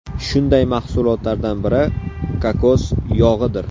Shunday mahsulotlardan biri kokos yog‘idir.